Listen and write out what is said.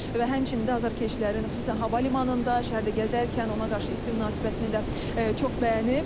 Və həmçinin də azarkeşlərin xüsusən hava limanında, şəhərdə gəzərkən ona qarşı isti münasibətini də çox bəyənib.